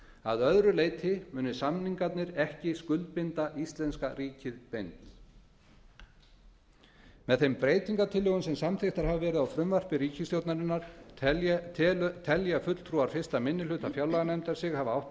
að öðru leyti muni samningarnir ekki skuldbinda íslenska ríkið beint með þeim breytingartillögum sem samþykktar hafa verið á frumvarpi ríkisstjórnarinnar telja fulltrúar fyrsti minni hluta fjárlaganefndar sig hafa átt